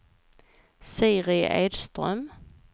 Siri Edström